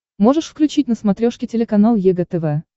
можешь включить на смотрешке телеканал егэ тв